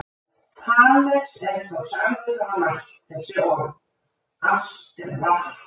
Þales er þá sagður hafa mælt þessi orð: Allt er vatn.